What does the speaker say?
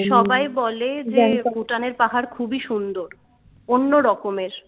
সবাই বলে যে Bhutan এর পাহাড় খুবই সুন্দর অন্য রকমের